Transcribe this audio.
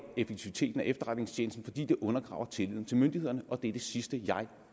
effektiviteten af efterretningstjenesten fordi det undergraver tilliden til myndighederne og det er det sidste jeg